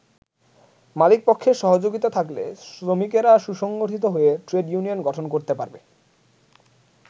মালিকপক্ষের সহযোগিতা থাকলে শ্রমিকেরা সুসংগঠিত হয়ে ট্রেড ইউনিয়ন গঠন করতে পারবে।